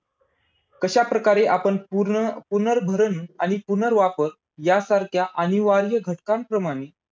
कशा प्रकारे पूर्ण पुनर्भरण आणि पुनर्वापर यांसारख्या अनिवार्य घटकांप्रमाणे